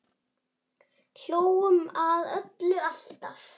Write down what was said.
Hlógum að öllu, alltaf.